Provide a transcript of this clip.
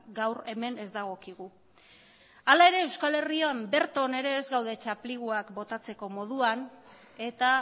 gaur hemen ez dagokigu hala ere euskal herrian berton ere ez gaude txapliguak botatzeko moduan eta